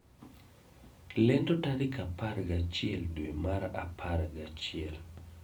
Lendo tarik apar gachiel dwe mar apar gachiel